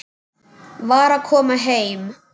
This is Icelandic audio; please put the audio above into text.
Var að koma heim.